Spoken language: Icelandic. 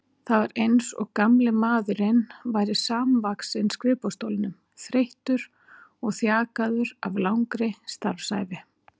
Það var eins og gamli maðurinn væri samvaxinn skrifborðsstólnum, þreyttur og þjakaður af langri starfsævi.